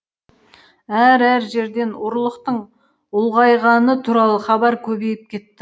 әр әр жерден ұрлықтың ұлғайғаны туралы хабар көбейіп кетті